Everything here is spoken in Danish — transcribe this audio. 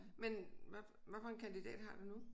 Men hvad hvad for en kandidat har du nu?